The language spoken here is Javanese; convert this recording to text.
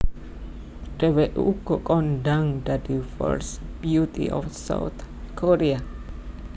Dheweké uga kondhang dadi first beauty of South Korea